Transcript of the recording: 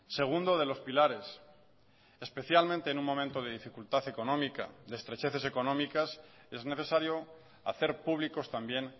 segundo de los pilares especialmente en un momento de dificultad económica de estrecheces económicas es necesario hacer públicos también